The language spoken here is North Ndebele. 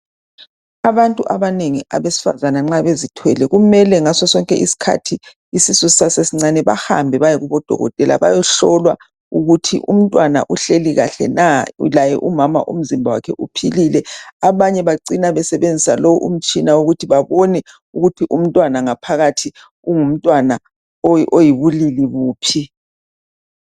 Abantu abanengi abesifazana nxa bezithwele kumele ngaso sonke isikhathi isisu sisesesincane bahambe bayekodokotela bayehlolwa ukuthi umntwana uhleli kahle na laye umama umzimba wakhe uphilile abanye bacina besebenzisa lowo umtshina ukuthi babone ukuthi umntwana ngaphakathi ungumntwana uyibulili buphi.